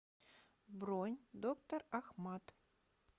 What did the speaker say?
бронь доктор ахмад